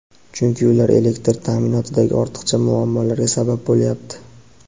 chunki ular elektr ta’minotidagi ortiqcha muammolarga sabab bo‘lyapti.